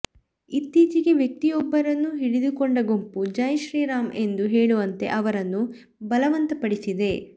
ಇತ್ತೀಚೆಗೆ ವ್ಯಕ್ತಿಯೊಬ್ಬರನ್ನು ಹಿಡಿದುಕೊಂಡ ಗುಂಪು ಜೈಶ್ರೀ ರಾಮ್ ಎಂದು ಹೇಳುವಂತೆ ಅವರನ್ನು ಬಲವಂತಪಡಿಸಿದೆ